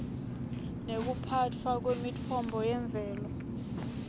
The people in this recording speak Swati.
nekuphatfwa kwemitfombo yemvelo